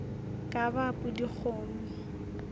ka ba a pudi kgomo